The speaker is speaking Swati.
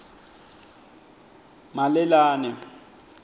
malelane